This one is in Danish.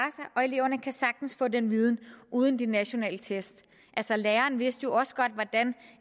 og eleverne kan sagtens få den viden uden de nationale test altså læreren vidste jo også godt hvordan